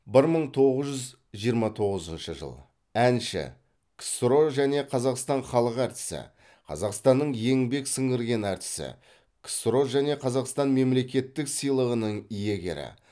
бір мың тоғыз жүз жиырма тоғызыншы жыл әнші ксро және қазақстан халық әртісі қазақстанның еңбек сіңірген әртісі ксро және қазақстан мемлекеттік сыйлығының иегері